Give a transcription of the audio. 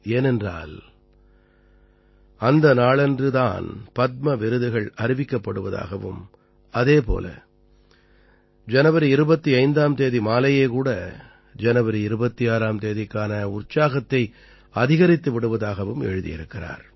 ஏனென்றால் அந்த நாளன்று தான் பத்ம விருதுகள் அறிவிக்கப்படுவதாகவும் அதே போல ஜனவரி 25ஆம் தேதி மாலையே கூட ஜனவரி 26ஆம் தேதிக்கான உற்சாகத்தை அதிகரித்து விடுவதாகவும் எழுதியிருக்கிறார்